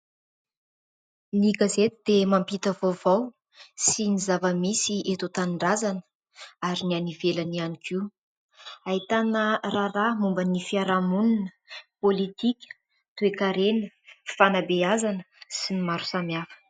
Ny gazety dia mampita vaovao sy ny zavamisy eto an-tanindrazana ary ny any ivelany ihany koa. Ahitana raharaha momba ny fiarahamonina, politika, toekarena fifanabeazana sy ny maro samy hafa.